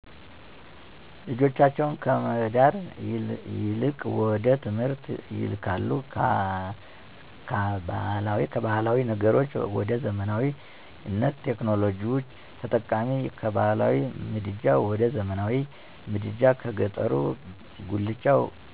ልጆቻቸውን ከመዳር ይልቅወደትምህርት ይልካሉ ካባህላዊ ነገሮች ወደዘመናዊነት፣ ቴክኖሎጂ ተጠቃሚ፣ ከባህላዊ ምድጃ ወደዘመናዊ ምድጃ በገጠሩበጉላቻ